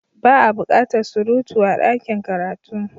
Ba a bukatar surutu a dakin karatu.